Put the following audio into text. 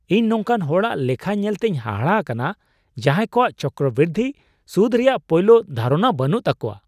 ᱤᱧ ᱱᱚᱝᱠᱟᱱ ᱦᱚᱲᱟᱜ ᱞᱮᱠᱷᱟ ᱧᱮᱞᱛᱮᱧ ᱦᱟᱦᱟᱲᱟ ᱟᱠᱟᱱᱟ ᱡᱟᱦᱟᱸᱭ ᱠᱚᱣᱟᱜ ᱪᱚᱠᱨᱚᱼᱵᱨᱤᱫᱽᱫᱷᱤ ᱥᱩᱫᱽ ᱨᱮᱭᱟᱜ ᱯᱳᱭᱞᱳ ᱫᱷᱟᱨᱚᱱᱟ ᱵᱟᱹᱱᱩᱜ ᱛᱟᱠᱚᱣᱟ ᱾